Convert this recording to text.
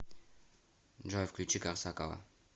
джой включи корсакова